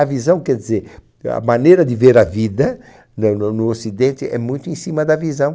A visão quer dizer, a maneira de ver a vida na no no ocidente é muito em cima da visão.